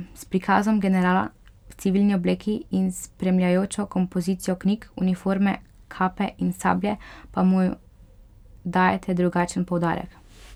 S prikazom generala v civilni obleki in s spremljajočo kompozicijo knjig, uniforme, kape in sablje pa mu dajete drugačen poudarek.